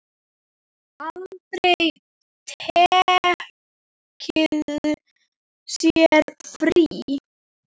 Aldrei tekið sér frí.